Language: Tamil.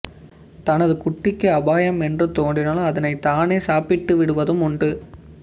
தனது குட்டிக்கு அபாயம் என்று தோன்றினால் அதனை தானே சாப்பிட்டு விடுவதும் உண்டு